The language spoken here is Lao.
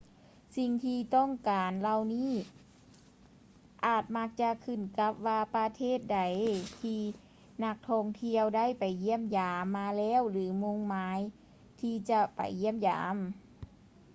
ສິ່ງທີ່ຕ້ອງການເຫຼົ່ານີ້ ອາດມັກຈະຂຶ້ນກັບວ່າປະເທດໃດທີ່ນັກທ່ອງທ່ຽວໄດ້ໄປຢ້ຽມຢາມມາແລ້ວ ຫຼື ມຸ່ງໝາຍທີ່ຈະໄປຢ້ຽມຢາມ